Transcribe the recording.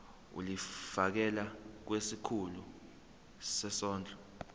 ulifiakela kwisikulu sezondlo